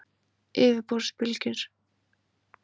Yfirborðsbylgjurnar eru tvenns konar.